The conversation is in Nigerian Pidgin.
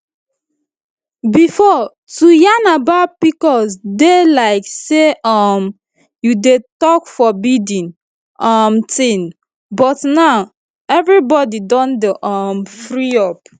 before to yarn about pcos dey like say um you dey talk forbidden um thing but now everybody don um free up